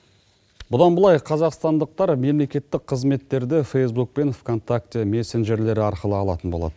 бұдан бұлай қазақстандықтар мемлекеттік қызметтерді фейсбук пен вконтакте мессенджерлері арқылы алатын болады